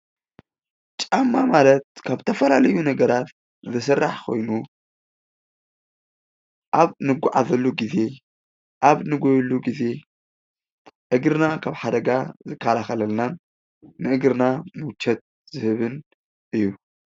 ጫማ ማለት ካብ ዝተፈላለዩ ነገራት ዝስራሕ ኾይኑ ኣብ እንጓዓዘሉ ግዜ ፣ ኣብ እንጎየሉ ግዜ እግርና ካብ ሓደጋ ዝከላኸለልናን ንእግርና ሙቸት ዝህብን እዩ።